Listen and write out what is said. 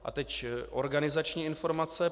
A teď organizační informace.